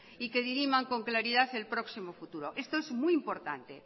y que diriman con claridad el próximo futuro esto es muy importante